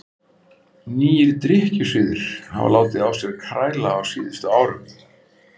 Nýir drykkjusiðir hafa látið á sér kræla á síðustu árum.